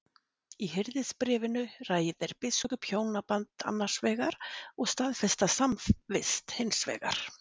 Í Hirðisbréfinu ræðir biskup hjónaband annars vegar og staðfesta samvist hins vegar.